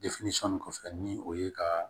nin kɔfɛ ni o ye ka